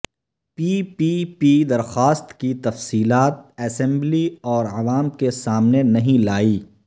پی P P درخواست کی تفصیلات اسمبلی اور عوام کے سامنے نہیں لائی